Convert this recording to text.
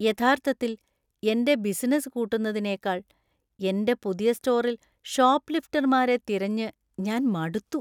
യഥാർത്ഥത്തിൽ എന്‍റെ ബിസിനസ്സ് കൂട്ടുന്നതിനേക്കാൾ എന്‍റെ പുതിയ സ്റ്റോറിൽ ഷോപ്പ് ലിഫ്റ്റർമാരെ തിരഞ്ഞ് ഞാൻ മടുത്തു.